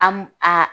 A m a